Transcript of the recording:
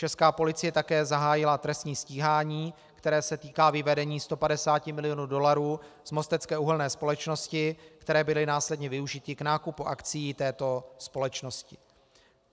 Česká policie také zahájila trestní stíhání, které se týká vyvedení 150 milionů dolarů z Mostecké uhelné společnosti, které byly následně využity k nákupu akcií této společnosti.